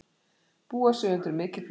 Búa sig undir mikið flóð